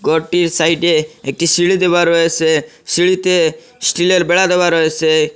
ঘরটির সাইডে একটি সিঁড়ি দেওয়া রয়েছে সিঁড়িতে স্টিলের বেড়া দেওয়া রয়েছে।